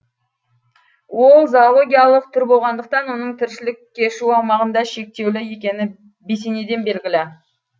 ол зоологиялық түр болғандықтан оның тіршілік кешу аумағында шектеулі екені бесенеден белгілі